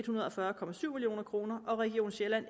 hundrede og fyrre million kroner og region sjælland